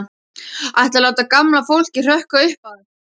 Ætlarðu að láta gamla fólkið hrökkva upp af?